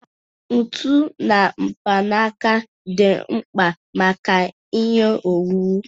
Ntu na mkpanaka dị mkpa maka ihe owuwu.